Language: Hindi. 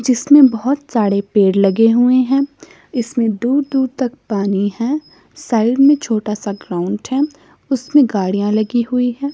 जिसमें बहोत सारे पेड़ लगे हुए हैं इसमें दूर दूर तक पानी है साइड में छोटा सा ग्राउंड है उसमें गाड़ियां लगी हुई है।